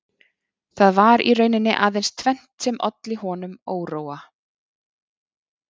Það var í rauninni aðeins tvennt sem olli honum óróa